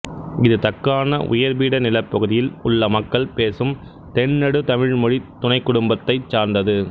இது தக்காண உயர்பீட நிலப்பகுதியில் உள்ள மக்கள் பேசும் தென்நடு தமிழ் மொழித் துணைக்குடும்பத்தைச் சார்ந்தது